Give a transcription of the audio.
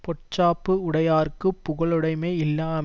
பொச்சாப்பு உடையார்க்குப் புகழுடைமையில்லையாம்